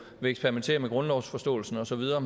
vil eksperimentere med grundlovsforståelsen og så videre